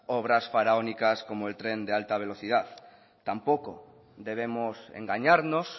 obras faraónicas como el tren de alta velocidad tampoco debemos engañarnos